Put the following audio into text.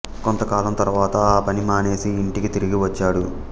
కొంత కాలం తరువాత ఆ పని మానివేసి ఇంటికి తిరిగి వచ్చాడు